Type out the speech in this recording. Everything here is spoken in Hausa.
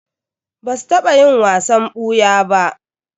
Ba su taɓa yin wasan ɓuya ba.